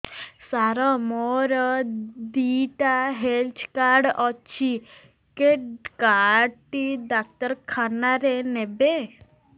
ସାର ମୋର ଦିଇଟା health card ଅଛି କେ କାର୍ଡ ଟି ଡାକ୍ତରଖାନା ରେ ନେବେ